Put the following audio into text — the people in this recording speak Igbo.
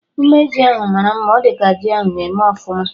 Ume ji ahụ mara mma, ọ dị ka ji ahụ na-eme ọfụma